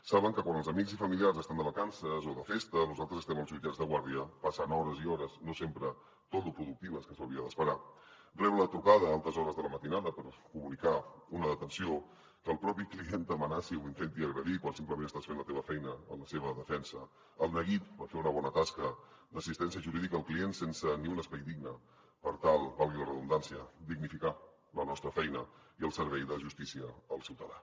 saben que quan els amics i familiars estan de vacances o de festa nosaltres estem als jutjats de guàrdia passant hores i hores no sempre tot lo productives que s’hauria d’esperar rebre una trucada a altes hores de la matinada per comunicar una detenció que el propi client t’amenaci o intenti agredir quan simplement estàs fent la teva feina en la seva defensa el neguit per fer una bona tasca d’assistència jurídica al client sense ni un espai digne per tal valgui la redundància dignificar la nostra feina i el servei de justícia al ciutadà